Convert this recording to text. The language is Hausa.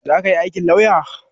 Zaka yi aikin lauya?